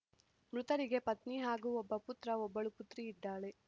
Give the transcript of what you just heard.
ಮೃತರಿಗೆ ಪತ್ನಿ ಹಾಗೂ ಒಬ್ಬ ಪುತ್ರ ಒಬ್ಬಳು ಪುತ್ರಿ ಇದ್ದಾಳೆ